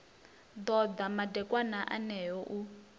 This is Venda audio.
ḓo ḓa madekwana eneo u